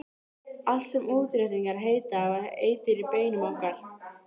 Allt sem útréttingar heita var eitur í beinum okkar.